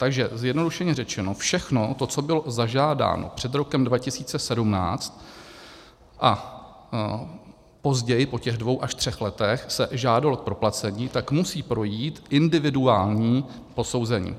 Takže zjednodušeně řečeno, všechno to, co bylo zažádáno před rokem 2017 a později, po těch dvou až třech letech, se žádalo k proplacení, tak musí projít individuální posouzení.